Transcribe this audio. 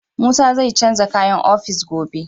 Musa zai canza kayan ofis gobe.